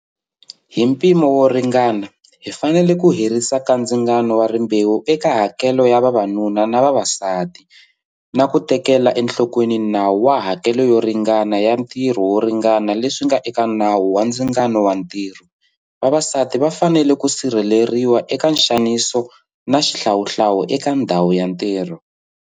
Hi mpimo wo ringana, hi fanele ku herisa kandzingano wa rimbewu eka hakelo ya vavanuna na vavasati, na ku teketela enhlokweni nawu wa hakelo yo ringana ya ntirho wo ringana leswi nga eka Nawu wa Ndzingano wa Ntirho. Vavasati va fanele ku sirheleriwa eka nxaniso na xihlawuhlawu eka ndhawu ya ntirho.